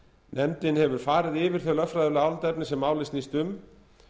nefndin hefur farið yfir þau lögfræðilegu álitaefni sem málið snýst um